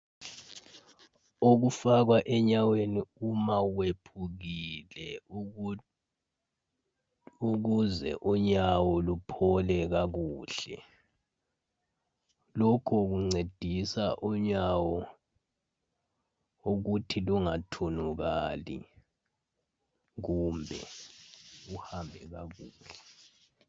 Okufakwa enyaweni uma wephukile ukuze unyawo luphole kakuhle lokho kuncedisa unyawo ukuthi lungathunukali kumbe uhambe kabuhlungu